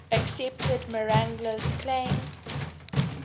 accepted marangella's claim